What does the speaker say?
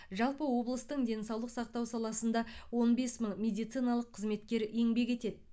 жалпы облыстың денсаулық сақтау саласында он бес мың медициналық қызметкер еңбек етеді